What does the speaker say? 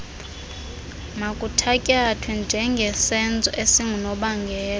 makuthatyathwe njengesenzo esingunobangela